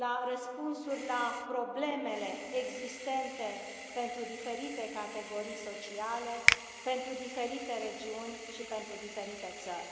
răspunsuri la problemele existente pentru diferite categorii sociale, pentru diferite regiuni și pentru diferite țări.